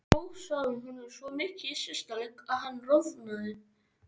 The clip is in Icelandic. Hrósaði honum svo mikið í síðasta leik að hann roðnaði.